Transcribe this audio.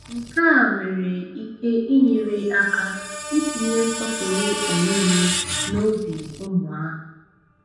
Nke a nwere ike inyere aka itinye nsọpụrụ onwe onye n’obi ụmụ ahụ.